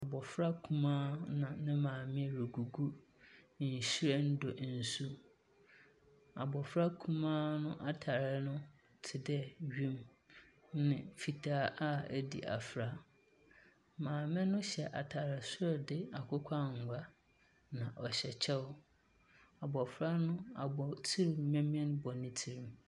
Abofra nkumaa na ne maame regugu nwhiren do nsu. Abofra kumaa no atar no te dɛ wiem ne fitaa a adi afra. Maame no hyɛ atar sor de akokɔangua. Na ɔhyɛ kyɛw. Na abofra no abotsir memen bɔ ne tsir.